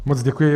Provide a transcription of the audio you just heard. Moc děkuji.